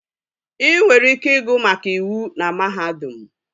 Ị nwere ike ịgụ maka iwu na mahadum